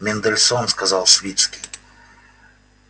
мендельсон сказал свицкий